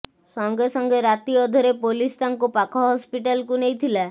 ସଙ୍ଗେ ସଙ୍ଗେ ରାତିଅଧରେ ପୋଲିସ ତାଙ୍କୁ ପାଖ ହସ୍ପିଟାଲକୁ ନେଇଥିଲା